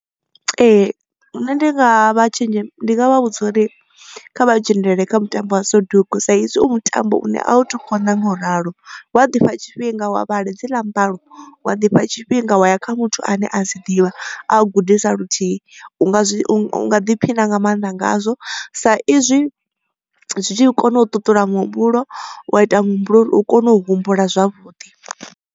Ee nṋe ndi nga vha tshinzhi ndi nga vha vhudza uri kha vha dzhenelele kha mutambo wa soduku sa izwi u mutambo une a u to konḓa ngauralo. Wa ḓifha tshifhinga wa vhala dzi ḽa mbalo wa ḓifha tshifhinga wa ya kha muthu ane a dzi ḓivha a gudisa luthihi. U nga zwi u nga ḓiphina nga maanḓa ngazwo sa izwi zwi tshi kona u ṱuṱula muhumbulo wa ita muhumbulo uri u kone u humbula zwavhuḓi.